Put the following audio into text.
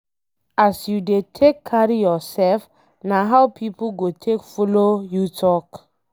As you dey take carry yourself na how pipo go take follow you talk